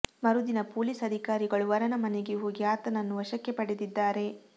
ಮರುದಿನ ಪೊಲೀಸ್ ಅಧಿಕಾರಿಗಳು ವರನ ಮನೆಗೆ ಹೋಗಿ ಆತನನ್ನು ವಶಕ್ಕೆ ಪಡೆದಿದ್ದಾರೆ